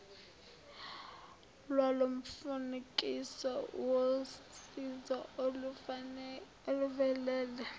lwalomfanekiso wosizo oluvelele